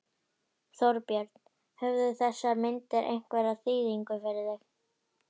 Þorbjörn: Höfðu þessar myndir einhverja þýðingu fyrir þig?